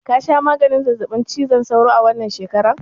Ka sha maganin zazzaɓin cizon sauro a wannan shekarar?